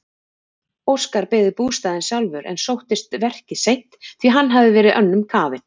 Óskar byggði bústaðinn sjálfur en sóttist verkið seint því hann hafði verið önnum kafinn.